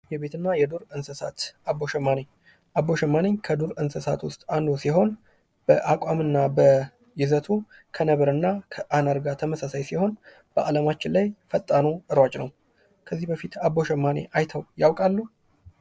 የቤትና የዱር እንስሳት አቦ ሸማኔ አቦ ሸማኔ ከዱር እንስሳት ውስጥ አንዱ ሲሆን፤ በአቋምና በይዘቱ ከነበር እና አነር ጋር ተመሳሳይ ሲሆን፤ በዓለማችን ላይ ፈጣኑ ሯጭ ነው። ከዚህ በፊት አቦ ሸማኔ አይተው ያውቃሉ?